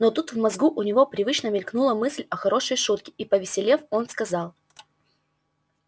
но тут в мозгу у него привычно мелькнула мысль о хорошей шутке и повеселев он сказал